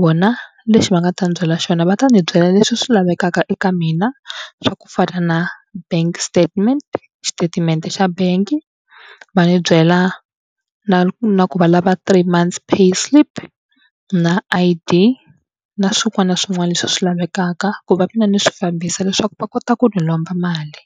Vona lexi va nga ta ndzi byela xona va ta ndzi byela leswi swi lavekaka eka mina swa ku fana na bank statement xitatimende xa bangi va ni byela na na ku valava three months pay slip na I_D na swin'wana na swin'wana leswi swi lavekaka ku va mina ni swi fambisa leswaku va kota ku ni lomba mali.